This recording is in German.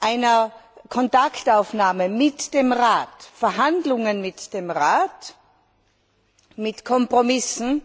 einer Kontaktaufnahme mit dem Rat, Verhandlungen mit dem Rat, mit Kompromissen und